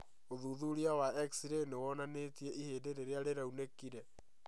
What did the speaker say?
ũthuthuria wa X-ray nĩwonanĩtie ihĩndĩ rĩrĩa rĩaunĩkire